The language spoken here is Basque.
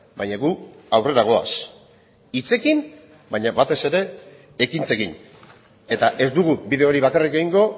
baina gu aurrera goaz hitzekin baina batez ere ekintzekin eta ez dugu bideo hori bakarrik egingo